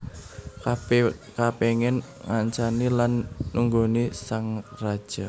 Kabèh kapéngin ngancani lan nunggoni sang raja